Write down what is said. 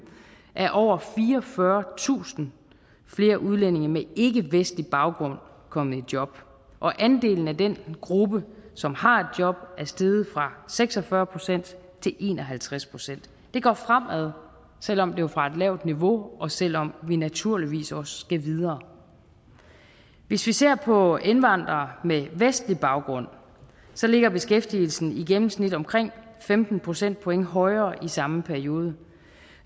er over fireogfyrretusind flere udlændinge med ikkevestlig baggrund kommet i job og andelen af den gruppe som har et job er steget fra seks og fyrre procent til en og halvtreds procent det går fremad selv om det er fra et lavt niveau og selv om vi naturligvis også skal videre hvis vi ser på indvandrere med vestlig baggrund så ligger beskæftigelsen i gennemsnit omkring femten procentpoint højere i samme periode